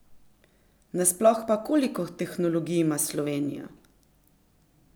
Nasploh pa, koliko tehnologij ima Slovenija?